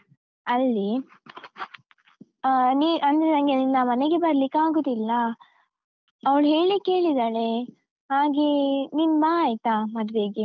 ಅಲ್ಲಿ. ಅಹ್ ನೀ, ಅಂದ್ರೆ ನಂಗೆ ನಿನ್ನ ಮನೆಗೆ ಬರ್ಲಿಕ್ಕೆ ಆಗುದಿಲ್ಲ ಅವ್ಳ್ ಹೇಳಿಕ್ಕೆ ಹೇಳಿದಾಳೆ, ಹಾಗೇ ನೀನ್ ಬಾ ಆಯ್ತಾ, ಮದ್ವೆಗೆ.